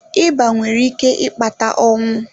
Ịba nwere ike ịkpata ọnwụ.